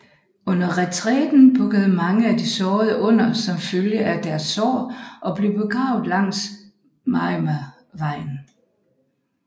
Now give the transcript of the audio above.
Under retræten bukkede mange af de sårede under som følge af deres sår og blev begravet langs Maruyamavejen